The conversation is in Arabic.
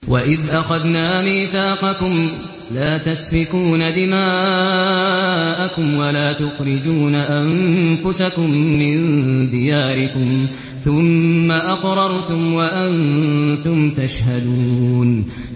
وَإِذْ أَخَذْنَا مِيثَاقَكُمْ لَا تَسْفِكُونَ دِمَاءَكُمْ وَلَا تُخْرِجُونَ أَنفُسَكُم مِّن دِيَارِكُمْ ثُمَّ أَقْرَرْتُمْ وَأَنتُمْ تَشْهَدُونَ